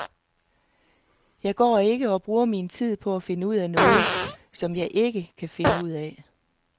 Jeg går ikke og bruger min tid på at finde ud af noget, som jeg ikke kan finde ud af.